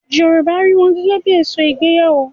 Yorùbá rí wọn gẹ́gẹ́ bí I èso ìgbéyàwó.